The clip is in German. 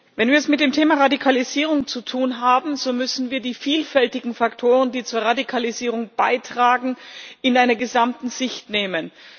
Wenn wir es mit dem Thema Radikalisierung zu tun haben, so müssen wir die vielfältigen Faktoren, die zur Radikalisierung beitragen, in einer gesamten Sicht nehmen.